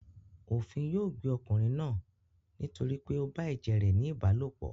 Òfin yóò gbé ọkùnrin náà nítorí pé ó bá ẹ̀jẹ̀ rẹ̀ ní ìbálòpọ̀.